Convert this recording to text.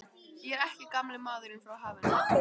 Ég er ekki gamli maðurinn frá hafinu.